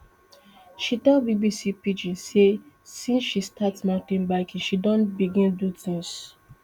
she tell bbc pidgin say since she start mountain biking she don begin do tins